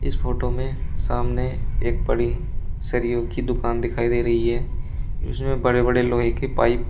इस फोटो में सामने एक बड़ी सरिओ की दुकान दिखाई दे रही है उसमें बड़े बड़े लोहे के पाइप --